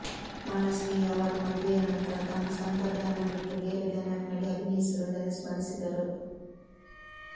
ಮಾಲಾಶ್ರೀ ಅವರು ಮದುವೆಯ ನಂತರ ತಮ್ಮ ಸ್ವಂತ ಬ್ಯಾನರ್ ಬಿಟ್ಟು ಬೇರೆ ಬ್ಯಾನರ್ನಡಿ ಅಭಿನಯಿಸಿರುವುದನ್ನು ಸ್ಮರಿಸಿದರು